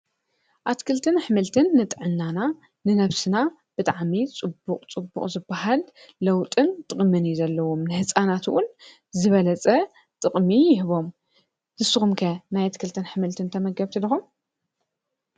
ኣትክልትን ኣሕምልትን ንጥዕናና ንነብስና ብጣዕሚ ፅቡቅ ፅቡቅ ዝባሃል ለውጥን ጥቅምን እዩ ዘለዎም፡፡ ንህፃናት እውን ዝበለፀ ጥቅሚ ይህቦም፡፡ ንስኩም ከ ናይ ኣትክልትን ኣሕምልትን ተመገብቲ ዲኩም?